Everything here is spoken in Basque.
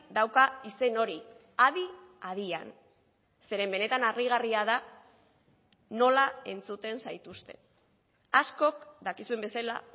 dauka izen hori adi adian zeren benetan harrigarria da nola entzuten zaituzte askok dakizuen bezala